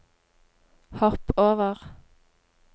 hopp over